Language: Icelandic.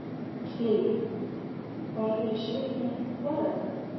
Lillý: Bara að vera í sólinni þar eða?